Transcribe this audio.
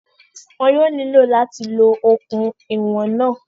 Wọn yóò nílò láti lo okùn ìwọ̀n náà